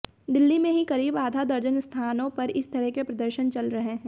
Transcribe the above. दिल्ली में ही करीब आधा दर्जन स्थानों पर इस तरह के प्रदर्शन चल रहे हैं